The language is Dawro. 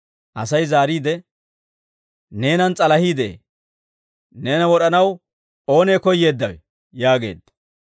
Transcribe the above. Asay zaariide, «Neenan s'alahii de'ee; neena wod'anaw oonee koyyeeddawe?» yaageedda.